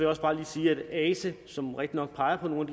også bare lige sige at ase som rigtignok peger på nogle